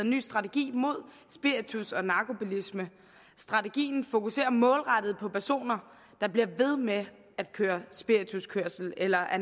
ny strategi mod spiritus og narkobilisme strategien fokuserer målrettet på personer der bliver ved med at køre spirituskørsel eller at